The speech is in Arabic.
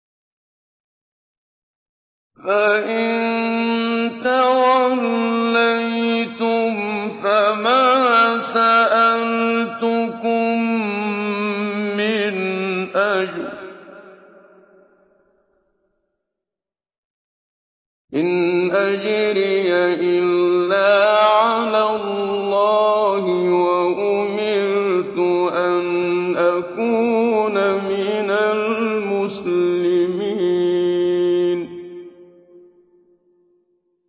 فَإِن تَوَلَّيْتُمْ فَمَا سَأَلْتُكُم مِّنْ أَجْرٍ ۖ إِنْ أَجْرِيَ إِلَّا عَلَى اللَّهِ ۖ وَأُمِرْتُ أَنْ أَكُونَ مِنَ الْمُسْلِمِينَ